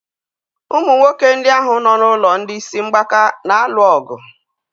Ụmụ nwoke ndị ahụ nọ n'ụlọ ndị isi mgbaka na-alụ ọgụ.